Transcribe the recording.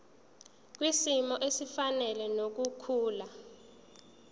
kwisimo esifanele nokukhula